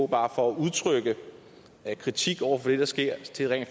bare at udtrykke kritik over det der sker til rent